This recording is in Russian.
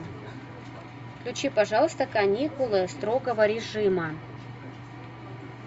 включи пожалуйста каникулы строгого режима